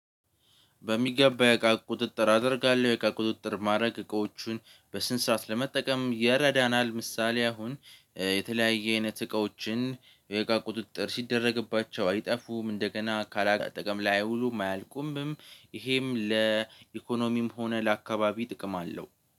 በሚገባ የእቃ ቁጥጥር አደርጋለሁ። የእቃ ቁጥጥር ማድረግ እቃዎቹን በስንት ሰዓት ለመጠቀም የረዳናል። ምሳሌ አሁን የተለያየ አይነት እቃዎችን ወይ ቁጥጥር ሲደረግባቸው አይጠፉም እንደገና ካላጠቀም ላይ አይውሉም አያልቁምም። ይሄም ለኢኮኖሚም ሆነ ለአካባቢ ጥቅም አለው።